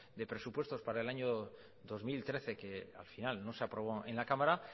de presupuestos para el año dos mil trece que al final no se aprobó en la cámara